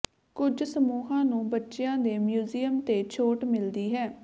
ਕੁਝ ਸਮੂਹਾਂ ਨੂੰ ਬੱਚਿਆਂ ਦੇ ਮਿਊਜ਼ੀਅਮ ਤੇ ਛੋਟ ਮਿਲਦੀ ਹੈ